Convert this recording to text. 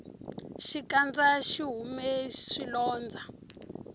xikandza xihume swilondza